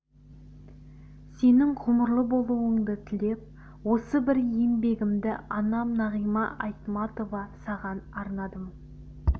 сенің ғұмырлы болуыңды тілеп осы бір еңбегімді анам нағима айтматова саған арнадым